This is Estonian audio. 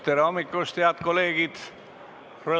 Tere hommikust, head kolleegid!